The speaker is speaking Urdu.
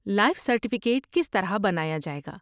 لائف سرٹیفکیٹ کس طرح بنایا جائے گا؟